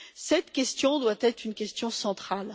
cette question doit être une question centrale.